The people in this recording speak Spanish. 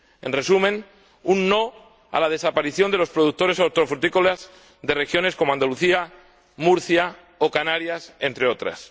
En resumen, un no a la desaparición de los productores hortofrutícolas de regiones como Andalucía, Murcia o Canarias, entre otras.